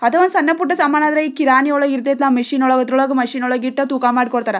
ಅದು ಸಣ್ಣ ಪುಟ್ಟ ಸಮಾನ್ ಆದ್ರೆ ಕಿರಾಣಿ ಒಳಗೆ ಇರತೇತ್ಲ್ಯಾ ಮಷೀನ್ ಒಳಗೆ ಅತರವಳಗ್ ಮಷೀನ್ ವಳಗ್ ಇಟ್ಟು ತೂಕ ಮಾಡಿ ಕೊಡುತ್ತಾರೆ.